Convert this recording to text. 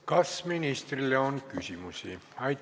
Kas ministrile on küsimusi?